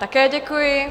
Také děkuji.